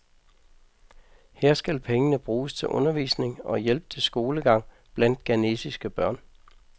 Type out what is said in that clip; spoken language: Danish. Her skal pengene bruges til undervisning og hjælp til skolegang blandt ghanesiske børn.